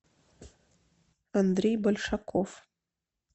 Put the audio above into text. андрей большаков